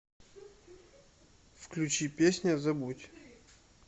включи песня забудь